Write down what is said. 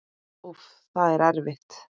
Úff, það er erfitt.